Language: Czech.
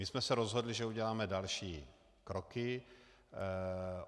My jsme se rozhodli, že uděláme další kroky.